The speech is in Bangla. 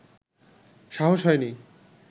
সাহস হয়নি